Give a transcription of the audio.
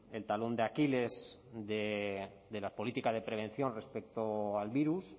el talón de aquiles de la política de prevención respecto al virus